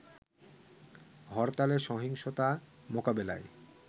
হরতালে সহিংসতা মোকাবেলায়